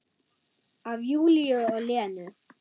Af Júlíu og Lenu.